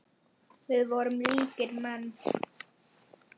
Við vorum ríkir menn.